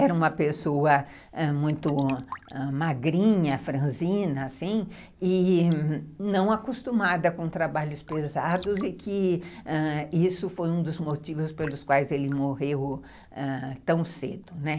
era uma pessoa muito magrinha, franzina, assim, e não acostumada com trabalhos pesados e que isso foi um dos motivos pelos quais ele morreu tão cedo, né?